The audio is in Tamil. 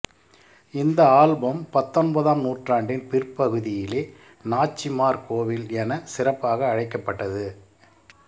இந்த ஆலயம் பத்தொன்பதாம் நூற்றாண்டின் பிற்பகுதியிலே நாச்சிமார் கோவில் என சிறப்பாக அழைக்கப்பட்டது